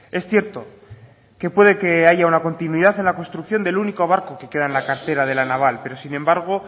es cierto que puede que haya una continuidad en la construcción del único barco que queda en la cantera de la naval pero sin embargo